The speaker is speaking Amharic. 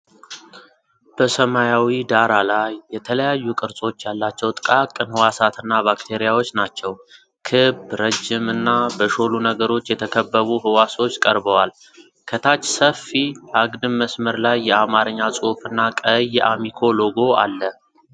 በሰማያዊ ዳራ ላይ የተለያዩ ቅርጾች ያላቸው ጥቃቅን ህዋሳት እና ባክቴሪያዎች ናቸው። ክብ፣ ረጅም እና በሾሉ ነገሮች የተከበቡ ህዋሶች ቀርበዋል። ከታች ሰፊ አግድም መስመር ላይ የአማርኛ ጽሑፍ እና ቀይ የአሚኮ ሎጎ አለ።